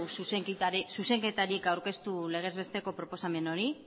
zuzenketarik aurkeztu legez besteko proposamen horri